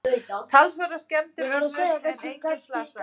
Talsverðar skemmdir urðu en enginn slasaðist